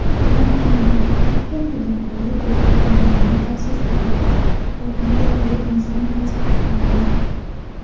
bilan "Kinematografiya fidokori" ko‘krak nishoni taʼsis etildi va unga oid nizom tasdiqlandi.